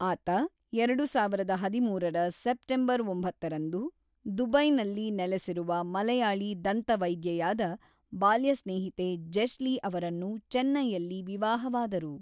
ಆತ ಎರಡು ಸಾವಿರದ ಹದಿಮೂರರ ಸೆಪ್ಟೆಂಬರ್ ಒಂಬತ್ತರಂದು, ದುಬೈಯಲ್ಲಿ ನೆಲೆಸಿರುವ ಮಲಯಾಳಿ ದಂತವೈದ್ಯೆಯಾದ ಬಾಲ್ಯ ಸ್ನೇಹಿತೆ ಜೆಶ್ಲಿ ಅವರನ್ನು ಚೆನ್ನೈಯಲ್ಲಿ ವಿವಾಹವಾದರು.